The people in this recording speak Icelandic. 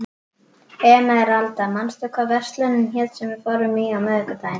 Emeralda, manstu hvað verslunin hét sem við fórum í á miðvikudaginn?